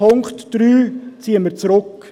Punkt 3 ziehen wir zurück.